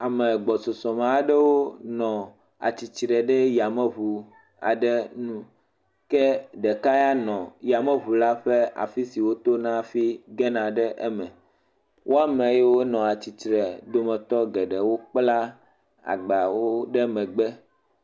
Amegbɔsusu aɖewo nɔ tsitre ɖe Yameŋu aɖe nu, ke ɖeka nɔ atsitre ɖe afi si wotona afi gene ɖe eme wo ame yiwo nɔ atsitre kpla agbawo ɖe megbe.